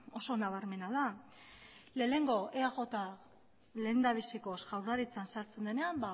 oso nabarmena da lehenengo eaj lehendabizikoz jaurlaritzan sartzen denean